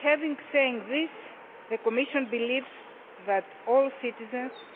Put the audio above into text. Having said this, the Commission believes that all citizens